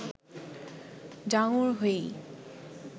ডাঙর হয়েই